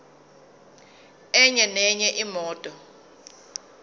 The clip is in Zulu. enye nenye imoto